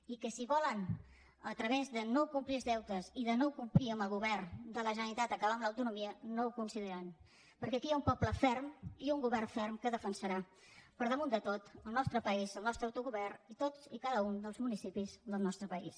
i que si volen a través de no complir els deutes i de no complir amb el govern de la generalitat acabar amb l’autonomia no ho aconseguiran perquè aquí hi ha un poble ferm i un govern ferm que defensarà per damunt de tot el nostre país el nostre autogovern i tots i cada un dels municipis del nostre país